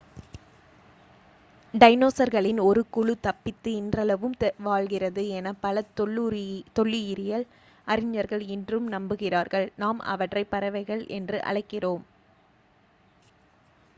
டைனோஸர்களின் ஒரு1 குழு தப்பித்து இன்றளவும் வாழ்கிறது என பல தொல்லுயிரியல் அறிஞர்கள் இன்றும் நம்புகிறார்கள். நாம் அவற்றை பறவைகள் என்று அழைக்கிறோம்